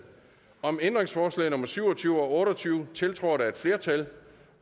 om ændringsforslag nummer syv og tyve og otte og tyve tiltrådt af et flertal